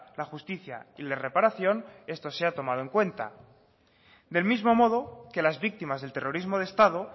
la justicia y la reparación esto sea tomado en cuenta del mismo modo que las víctimas del terrorismo de estado